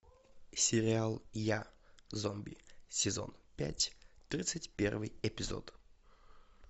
сериал я зомби сезон пять тридцать первый эпизод